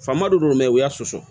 Faama dɔ don u y'a sɔsɔ